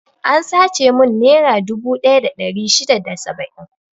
An sace mun nera dubu ɗaya da ɗari shida da saba'in.